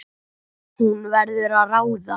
Hún verður að ráða.